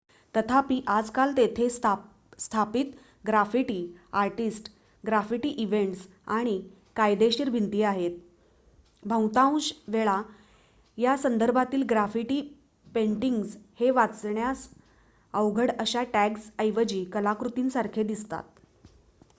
"तथापि आजकाल तेथे स्थापित ग्राफिटी आर्टिस्ट ग्राफिटी इव्हेंट्स आणि "कायदेशीर" भिंती आहेत. बहुतांश वेळा या संदर्भातील ग्राफिटी पेंटिंग्ज हे वाचण्यास अवघड अशा टॅग्जऐवजी कलाकृतीसारखे दिसतात.